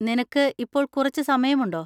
നിനക്കു ഇപ്പോൾ കുറച്ച് സമയമുണ്ടോ?